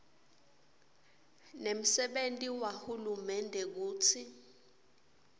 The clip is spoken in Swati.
nemsebenti wahulumende kutsi